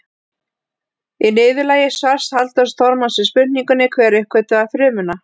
Í niðurlagi svars Halldórs Þormars við spurningunni Hver uppgötvaði frumuna?